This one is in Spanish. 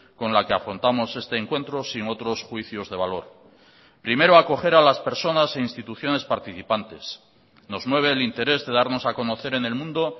con la que afrontamos este encuentro sin otros juicios de valor primero acoger a las personas e instituciones participantes nos mueve el interés de darnos a conocer en el mundo